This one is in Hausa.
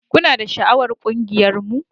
Kuna da sha'awar ƙungiyarmu?